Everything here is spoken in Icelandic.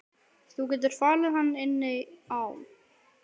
Þú getur falið hann inni á.